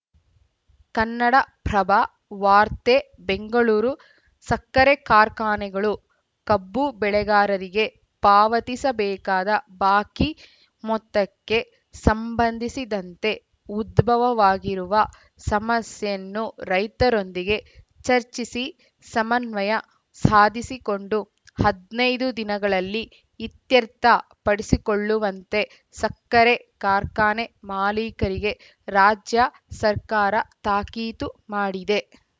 ಕನ್ನಡಪ್ರಭ ವಾರ್ತೆ ಬೆಂಗಳೂರು ಸಕ್ಕರೆ ಕಾರ್ಖಾನೆಗಳು ಕಬ್ಬು ಬೆಳೆಗಾರರಿಗೆ ಪಾವತಿಸಬೇಕಾದ ಬಾಕಿ ಮೊತ್ತಕ್ಕೆ ಸಂಬಂಧಿಸಿದಂತೆ ಉದ್ಭವವಾಗಿರುವ ಸಮಸ್ಯೆಯನ್ನು ರೈತರೊಂದಿಗೆ ಚರ್ಚಿಸಿ ಸಮನ್ವಯ ಸಾಧಿಸಿಕೊಂಡು ಹದ್ ನೈದು ದಿನಗಳಲ್ಲಿ ಇತ್ಯರ್ಥ ಪಡಿಸಿಕೊಳ್ಳುವಂತೆ ಸಕ್ಕರೆ ಕಾರ್ಖಾನೆ ಮಾಲಿಕರಿಗೆ ರಾಜ್ಯ ಸರ್ಕಾರ ತಾಕೀತು ಮಾಡಿದೆ